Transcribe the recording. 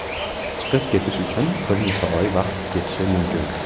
Chiqib ketish uchun bir necha oy vaqt ketishi mumkin.